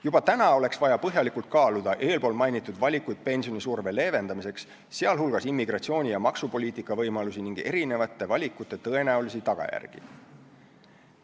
Juba täna oleks vaja põhjalikult kaaluda eespool mainitud valikuid pensionisurve leevendamiseks, sh immigratsiooni- ja maksupoliitika võimalusi ning valikute tõenäolisi tagajärgi.